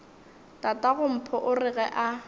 tatagompho o re ga a